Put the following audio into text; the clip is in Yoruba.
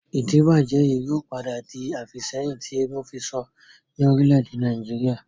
Ìdíbàjẹ́ yìí ó padà di àfìsẹ́yìn tí eégún fisọ ni Orílẹ̀ èdè Nàìjíríà